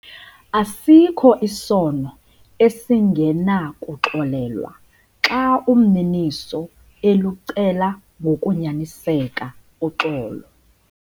Asikho isono esingenakuxolelwa xa umniniso elucela ngokunyaniseka uxolo.